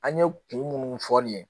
An ye kun munnu fɔ nin ye